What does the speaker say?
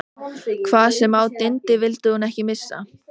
Hvað sem á dyndi vildi hún ekki missa